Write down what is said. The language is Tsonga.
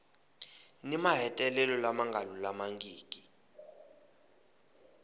ni mahetelelo lama nga lulamangiki